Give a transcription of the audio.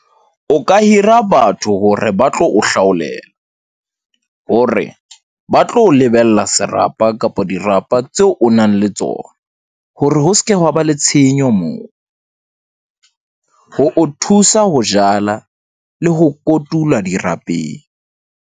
O ka hira batho hore ba tlo o hlaolela, hore ba tlo lebella serapa kapa dirapa tseo o nang le tsona hore ho seke wa ba le tshenyo moo . Ho o thusa ho jala le ho kotulwa dirapeng.